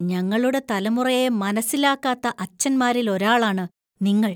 ഞങ്ങളുടെ തലമുറയെ മനസ്സിലാക്കാത്ത അച്ഛന്മാരിൽ ഒരാളാണ് നിങ്ങൾ.